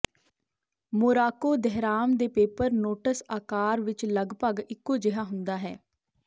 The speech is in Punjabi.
ਮੋਰਾਕੋ ਦਹਿਰਾਮ ਦੇ ਪੇਪਰ ਨੋਟਸ ਆਕਾਰ ਵਿਚ ਲਗਭਗ ਇੱਕੋ ਜਿਹਾ ਹੁੰਦਾ ਹੈ